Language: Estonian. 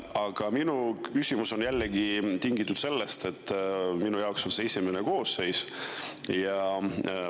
Aga minu küsimus on jällegi tingitud sellest, et minu jaoks on see esimene koosseis.